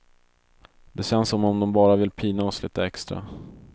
Det känns som om de bara vill pina oss litet extra.